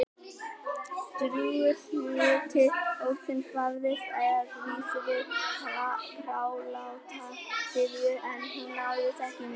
Drjúgur hluti hópsins barðist að vísu við þráláta syfju- en hún náðist ekki á mynd.